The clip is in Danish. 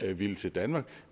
ville til danmark